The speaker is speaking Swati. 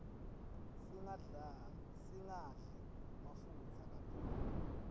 singadli mafutsa kakhulu